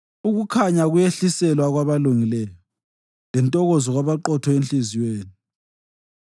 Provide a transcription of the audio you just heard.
Ukukhanya kuyehliselwa kwabalungileyo lentokozo kwabaqotho enhliziyweni.